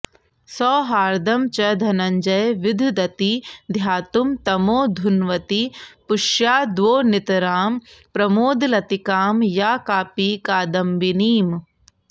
सौहार्दं च धनञ्जये विधदती ध्यातुं तमोधुन्वति पुष्याद्वोनितरां प्रमोदलतिकां या कापि कादम्बिनीम्